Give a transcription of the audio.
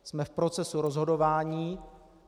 Jsme v procesu rozhodování.